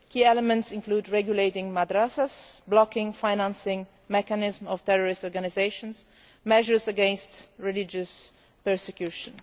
Key elements include regulating madrasas, blocking financing mechanisms of terrorist organisations, and measures against religious persecution.